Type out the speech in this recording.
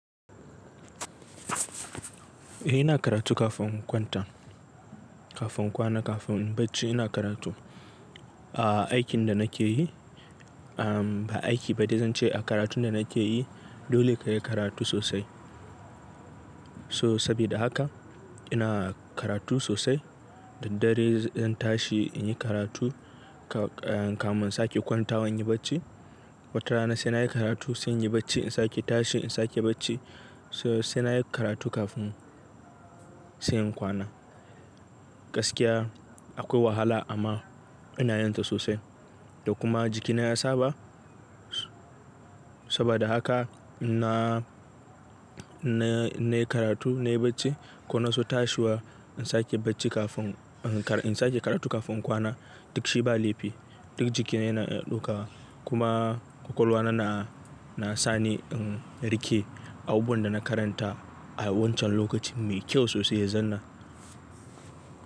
Eh ina karatu kafin in kwanta, kafin in kwana, kafin in bacci ina karatu. A aikin da nake yi, ah ba aiki ba dai zan ce a karatun da nake yi dole ka yi karatu sosai. So sabida hakan ina karatu sosai, daddare zan tashi in yi karatu ka-kamin in sake kwantawa in yi bacci. Wata rana sai na yi karatu sai in yi bacci, in sake tashi in sake bacci. So sai na yi karatu kafin sai in kwana. Gaskiya akwai wahala amma ina yin ta sosai. Da kuma jikina ya saba saboda haka na-na-na yi karatu, na yi bacci ko na so tashiwa in sake bacci kafin in sake karatu kafin in kwana duk shi ba laifi. Duk jikina yana ɗaukawa kuma kwakwalwa na, na sani in rike abubuwan da na karanta a wancan lokacin mai kyau sosai ya zanna.